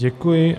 Děkuji.